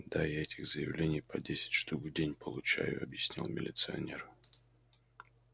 да я этих заявлений по десять штук в день получаю объяснял милиционер